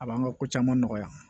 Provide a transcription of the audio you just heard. A b'an ka ko caman nɔgɔya